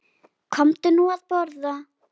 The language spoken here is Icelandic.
Komdu nú að borða